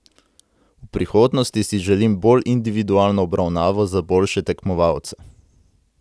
V prihodnosti si želim bolj individualno obravnavo za boljše tekmovalce.